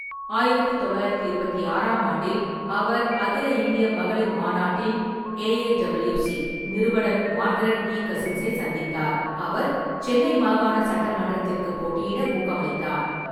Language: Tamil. ஆயிரத்து தொள்ளாயிரத்து இருபத்தி ஆறாம் ஆண்டில், அவர் அகில இந்திய மகளிர் மாநாட்டின் (ஏஐடபிள்யூசி) நிறுவனர் மார்கரெட் இ. கசின்ஸை சந்தித்தார், அவர் சென்னை மாகாண சட்டமன்றத்திற்கு போட்டியிட ஊக்கமளித்தார்.